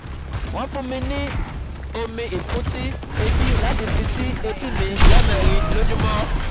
wọ́n fún mi ní omi ìfúntí etí láti fi sí etí mi lẹ́ẹ̀mẹrin lójúmọ́